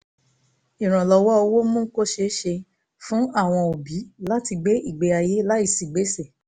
ìrànlọ́wọ́ owó mú kó ṣeé ṣe fún àwọn òbí láti gbé ìgbé ayé láìsí gbèsè